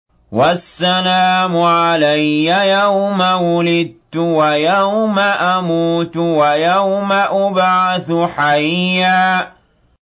وَالسَّلَامُ عَلَيَّ يَوْمَ وُلِدتُّ وَيَوْمَ أَمُوتُ وَيَوْمَ أُبْعَثُ حَيًّا